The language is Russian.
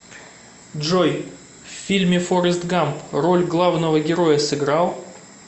джой в фильме форест гамп роль главного героя сыграл